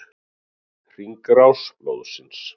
Hringrás blóðsins.